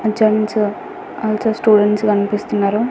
Gents also students కనిపిస్తున్నారు.